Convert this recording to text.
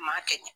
Maa kɛ ɲɛ